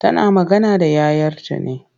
Tana magana da yayarta ne.